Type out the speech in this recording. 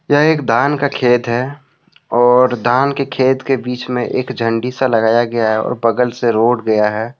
यह एक धान का खेत है और धान के खेत के बीच में एक झंडी सा लगाया गया है और बगल से रोड गया है।